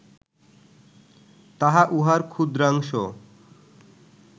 তাহা উহার ক্ষুদ্রাংশ